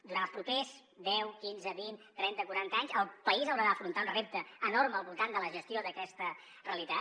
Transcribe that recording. durant els propers deu quinze vint trenta quaranta anys el país haurà d’afrontar un repte enorme al voltant de la gestió d’aquesta realitat